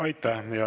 Aitäh!